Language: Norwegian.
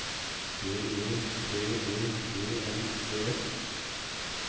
B E T E G N E S